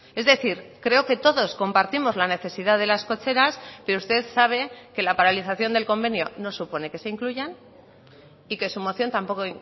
es decir creo que todos compartimos la necesidad de las cocheras pero usted sabe que la paralización del convenio no supone que se incluyan y que su moción tampoco